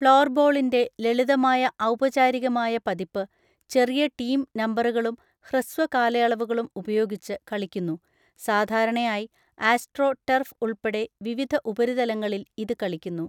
ഫ്ലോർബോളിന്‍റെ ലളിതമായ ഔപചാരികമായ പതിപ്പ്, ചെറിയ ടീം നമ്പറുകളും ഹ്രസ്വ കാലയളവുകളും ഉപയോഗിച്ച് കളിക്കുന്നു, സാധാരണയായി ആസ്ട്രോ ടർഫ് ഉൾപ്പെടെ വിവിധ ഉപരിതലങ്ങളിൽ ഇത് കളിക്കുന്നു.